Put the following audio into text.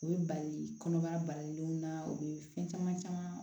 O ye bali kɔnɔbara balilenw na u bɛ fɛn caman caman